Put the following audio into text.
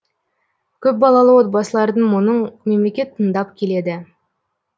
көпбалалы отбасылардың мұңын мемлекет тыңдап келеді